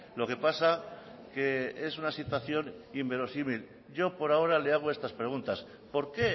lo que pasa que es una situación inverosímil yo por ahora le hago estas preguntas por qué